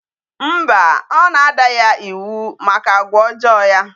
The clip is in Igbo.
Mba, ọ na-ada ya iwu maka agwa ojoo ya.